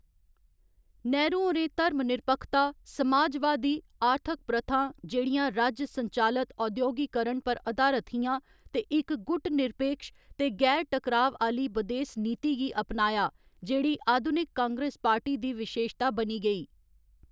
नेहरू होरें धर्मनिरपक्खता, समाजवादी आर्थक प्रथां जेह्‌‌ड़ियां राज्य संचालित औद्योगीकरण पर अधारत हियां ते इक गुटनिरपेक्ष ते गैर टकराव आह्‌ली बदेस नीति गी अपनाया जेह्‌‌ड़ी अधुनिक कांग्रेस पार्टी दी विशेशता बनी गेई।